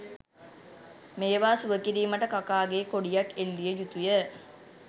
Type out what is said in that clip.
මේවා සුවකිරීමට කකාගේ කොඩියක් එල්ලිය යුතුය